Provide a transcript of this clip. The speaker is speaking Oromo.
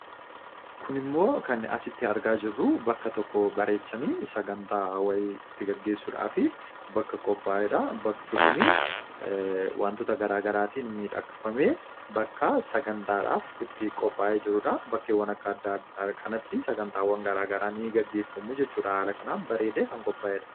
kun immoo kan asitti argaa jirru bakka tokko bareechanii sagantaa wa'ii itti gaggeessuudhaaf bakka qophaayeedha. Bakki kun wantoota garaa garaatiin midhakfamee bakka sagantaadhaaf qophaa'ee jiruudha. bakkeewwan akka adda addaa kanatti sagantaawwan garaa garaa ni gaggeeffamuu jechuun haala kanaan bareedee kan qophaa'edha.